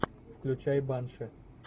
включай банши